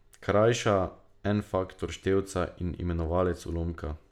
Krajša en faktor števca in imenovalec ulomka.